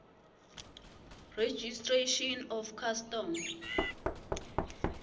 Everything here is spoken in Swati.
registration of custom